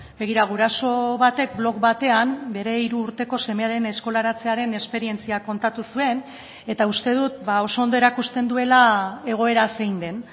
begira guraso batek blog batean bere hiru urteko semearen eskolaratzearen esperientzia kontatu zuen eta uste dut oso ondo erakusten duela egoera zein den